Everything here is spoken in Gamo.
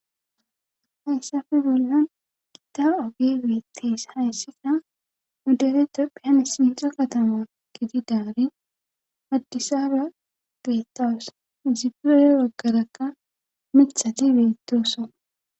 hayssafi bollan gita ogey beettes hayssika nu dere tophehane sintha kataman gididaari addisaba geetas izipe hena baggerakka mithati beettoosona